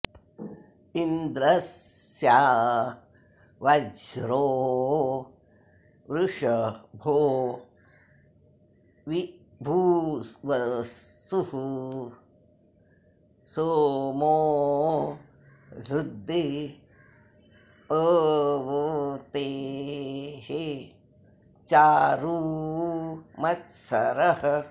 इन्द्र॑स्य॒ वज्रो॑ वृष॒भो वि॒भूव॑सुः॒ सोमो॑ हृ॒दे प॑वते॒ चारु॑ मत्स॒रः